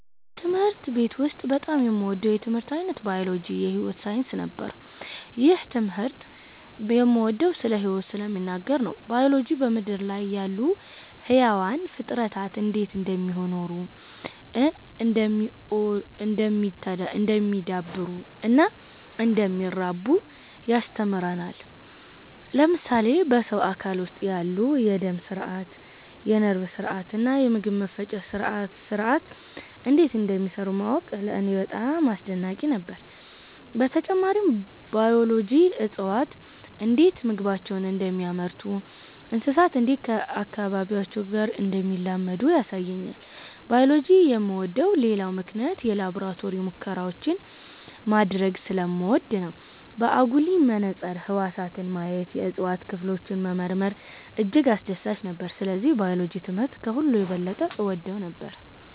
በትምህርት ቤት ውስጥ በጣም የምወደው የትምህርት ዓይነት ባዮሎጂ (የሕይወት ሳይንስ) ነበር። ይህን ትምህርት የምወደው ስለ ሕይወት ስለሚናገር ነው። ባዮሎጂ በምድር ላይ ያሉ ሕያዋን ፍጥረታት እንዴት እንደሚኖሩ፣ እንደሚ� oddሉ፣ እንደሚዳብሩ እና እንደሚራቡ ያስተምረናል። ለምሳሌ በሰው አካል ውስጥ ያሉ የደም ሥርዓት፣ የነርቭ ሥርዓት እና የምግብ መፈጨት ሥርዓት እንዴት እንደሚሠሩ ማወቅ ለእኔ በጣም አስደናቂ ነበር። በተጨማሪም ባዮሎጂ እፅዋት እንዴት ምግባቸውን እንደሚያመርቱ፣ እንስሳት እንዴት ከአካባቢያቸው ጋር እንደሚላመዱ ያሳየኛል። ባዮሎጂ የምወደው ሌላው ምክንያት የላቦራቶሪ ሙከራዎችን ማድረግ ስለምወድ ነው። በአጉሊ መነጽር ህዋሳትን ማየት፣ የእጽዋት ክፍሎችን መመርመር እጅግ አስደሳች ነበር። ስለዚህ ባዮሎጂ ትምህርት ከሁሉ የበለጠ እወደው ነበር።